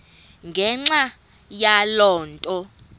ngenxa yaloo nto